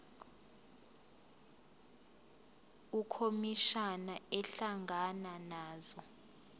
ukhomishana ehlangana nazo